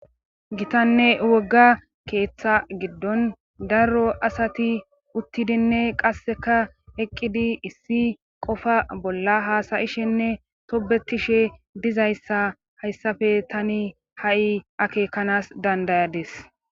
Gitanne wogga keeththa giddon daro asati uttidinne qasseka eqqidi issi qofa bolla haasayishenne tobetishe dizayssa hayssafe tani ha7i akeekanas dandayadis.